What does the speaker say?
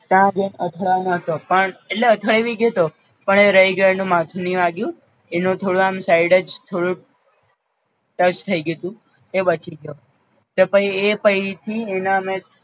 ત્યાં જઈને અથડાવાનો હતો પણ અથડાઇ ભી ગ્યોતો પણ એ રાય ગ્યો એનું માથું નઇ વાગ્યું એનો થોડો આમ સાઇડ જ થોડુંક ટચ થઈ ગ્યુંતુ એ બચી ગ્યો, તો પઈ એ પઈથી એના અમે